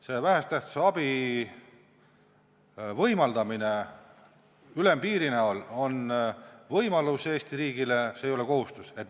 Selle vähese tähtsusega abi võimaldamine ülempiirina on Eesti riigile võimalus, see ei ole kohustus.